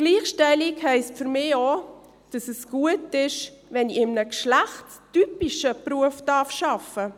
Gleichstellung heisst für mich auch, dass es gut ist, wenn ich in einem geschlechtstypischen Beruf arbeiten darf.